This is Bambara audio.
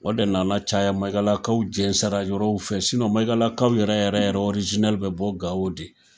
O de nana caya Maigalakaw jɛnsɛra yɔrɔw fɛ Maigalakaw yɛrɛ yɛrɛ yɛrɛ bɛ bɔ Gao de.